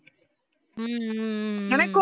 ஹம் ஹம் ஆஹ்